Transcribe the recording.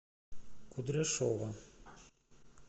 кудряшова